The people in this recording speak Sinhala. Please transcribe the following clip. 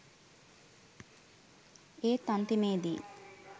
ඒත් අන්තිමේ දී